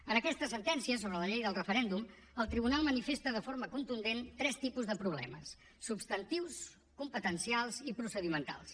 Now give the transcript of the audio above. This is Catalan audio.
en aquesta sentència sobre la llei del referèndum el tribunal manifesta de forma contundent tres tipus de problemes substantius competencials i procedimentals